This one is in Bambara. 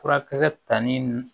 Furakisɛ tali